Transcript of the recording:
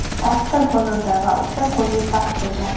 oltita gol urdi va uchta golli pas bergan.